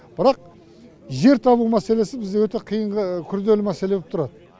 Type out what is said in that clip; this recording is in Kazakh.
бірақ жер табу мәселесі бізде өте қиынғы күрделі мәселе боп тұрады